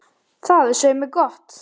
Það er svei mér gott.